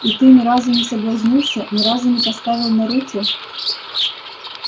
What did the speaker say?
и ты не разу не соблазнился ни разу не поставил на руте